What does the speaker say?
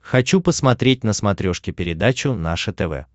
хочу посмотреть на смотрешке передачу наше тв